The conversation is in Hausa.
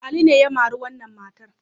Ali ne ya mari wannan matar.